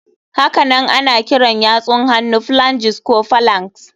Hakanan ana kiran yatsun hannu phalanges ko phalanx.